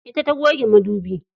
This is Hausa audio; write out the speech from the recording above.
Ita ta goge madubi.